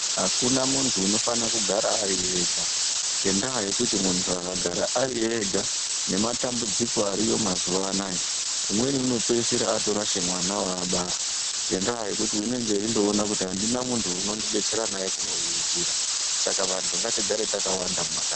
Akuna muntu unofana kugara ariega ngendaya yekuti muntu akagara ariega nematambudziko ariko mazuwa anaya umweni anopeisira atorasha mwana waabara ngendaya yekuti unenge endoona kuti andina muntu unondidetsera naye kumuriritira saka vantu ngatigare takawanda mumakanyi.